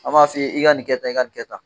An b'a f'i ye, i ka nin kɛ tan, i ka nin kɛ tan.